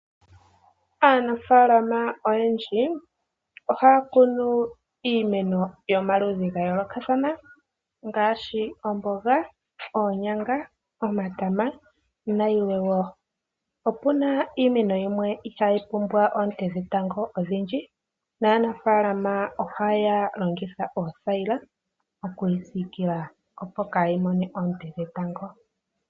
Aanafaalama oyendji ohaya kunu iimeno yomaludhi ogendji ga yoolokathana ngaashi omboga, oonyanga, omatama nayilwe wo. Opu na iimeno yimwe ihaayi pumbwa oonte dhetango odhindji naanafaalama ohaya longitha oothayila okuyi siikila, opo kaayi mone oonte dhetango.